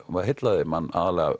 heillaði mann